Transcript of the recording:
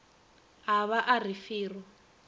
a ba a re fero